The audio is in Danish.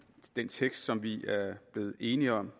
den tekst som vi er blevet enige om